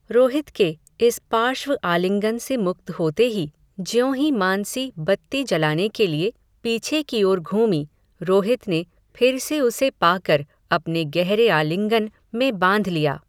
रोहित के, इस पार्श्व आलिंगन से मुक्त होते ही, ज्यों ही मानसी, बत्ती जलाने के लिए, पीछे की ओर घूमी, रोहित ने, फिर से उसे पाकर, अपने गहरे आलिंगन, में बांध लिया